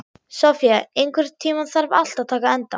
Sofía, einhvern tímann þarf allt að taka enda.